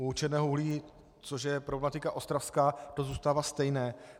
U černého uhlí, což je problematika Ostravska, to zůstává stejné.